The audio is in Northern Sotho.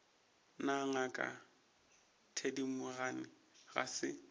na ngaka thedimogane ga se